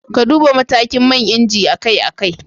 Ka Duba matakin man inji akai-akai